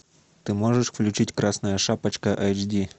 ты можешь включить красная шапочка эйч ди